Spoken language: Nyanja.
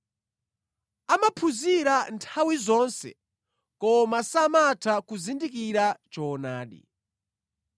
amaphunzira nthawi zonse koma samatha kuzindikira choonadi.